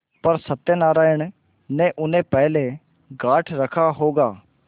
पर सत्यनारायण ने उन्हें पहले गॉँठ रखा होगा